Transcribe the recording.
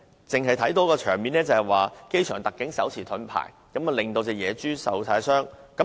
當天，我們只看到機場特警手持盾牌，野豬受傷。